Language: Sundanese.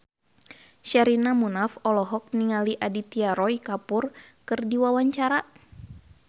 Sherina Munaf olohok ningali Aditya Roy Kapoor keur diwawancara